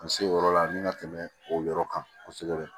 N se o yɔrɔ la n ka tɛmɛ o yɔrɔ kan kosɛbɛ